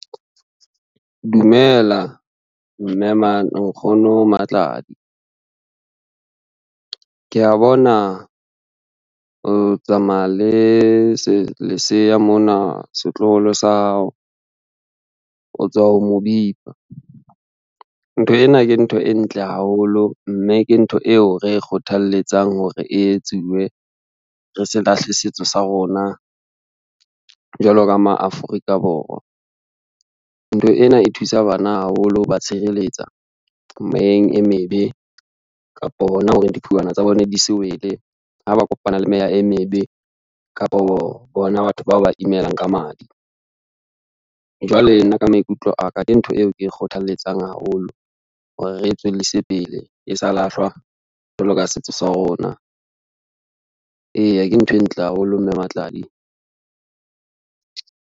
Dumela nkgono Matladi, ke ya bona o tsamaya le leseya mona setloholo sa hao, o tswa ho mo bipa. Ntho ena ke ntho e ntle haholo, mme ke ntho eo re e kgothalletsang hore e etsuwe re se lahle setso sa rona jwalo ka ma Afrika Borwa. Ntho ena e thusa bana haholo ho ba tshireletseha meyeng e mebe, kapo hona hore diphuwana tsa bona di se wele ha ba kopana le meya e mebe, kapo bona batho bao ba imelang ka madi. Jwale nna ka maikutlo a ka, ke ntho eo ke e kgothalletsang haholo hore re tswellise pele e sa lahlwa jwalo ka setso sa rona, eya ke ntho e ntle haholo mme Matladi.